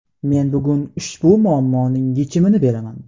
Men bugun ushbu muammoning yechimini beraman.